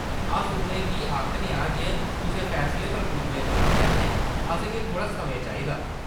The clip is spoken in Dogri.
अस उʼनें गी आखने आं जे कुसै फैसला पर पुज्जने कोला पैह्‌‌‌लें असेंगी थोह्‌ड़ा समें चाहिदा।